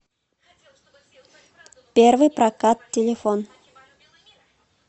первый прокат телефон